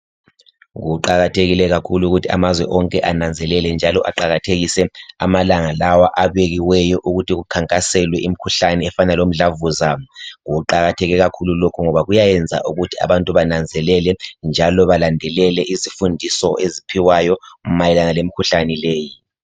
Kuqakathekile khakhulu ukuthi amazwe onke ananzelele, njalo aqakathekise amalanga lawa abekiweyo ukuthi kukhankaselwe imkhuhlani efana lomdlavuza. kuqakatheke kakhulu lokhu ngoba kuyayenza ukuthi abantu bananzele njalo balandelele izifundiso eziphiwayo mayelana lemkhuhlane leyi.